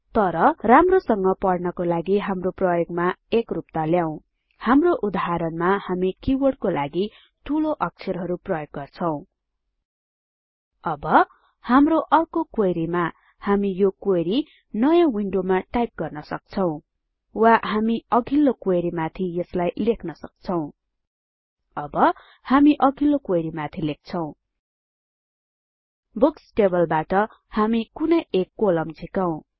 तर राम्रोसँग पढ्नको लागि हाम्रो प्रयोगमा एकरुपता ल्याउँ हाम्रो उदाहरणमा हामी किवर्डको लागि ठूलो अक्षरहरु प्रयोग गर्छौं अब हाम्रो अर्को क्वेरीमा हामी यो क्वेरी नयाँ विन्डोमा टाइप गर्न सक्छौं वा हामी अघिल्लो क्वेरी माथि यसलाई लेख्न सक्छौं अब हामी अघिल्लो क्वेरी माथि लेख्छौं बुक्स टेबलबाट हामी कुनै एक कोलम झिकौं